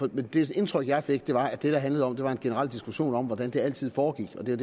det indtryk jeg fik var at det det handlede om var en generel diskussion om hvordan det altid foregik og det